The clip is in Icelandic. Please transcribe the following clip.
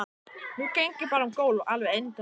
Nú geng ég bara um gólf, alveg endalaust.